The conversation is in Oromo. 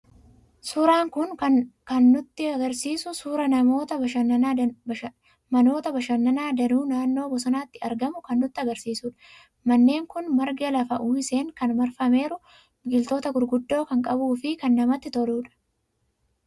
Suuraan kun kan inni nutti argisiisu suuraa manoota bashannanaa danuu naannoo bosonaatti argamuu kan nutti argisiisudha. Manneen kun marga lafa uwwiseen kan marfameeru, biqiloota gurguddoo kan qabuu fi kan namatti toludha.